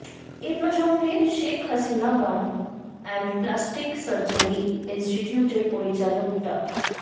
এ প্রসঙ্গে Sheikh Hasina burn and plastic surgery ইন্সটিটিউটের পরিচালক ডা